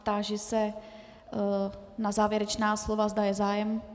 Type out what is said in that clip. Táži se na závěrečná slova, zda je zájem.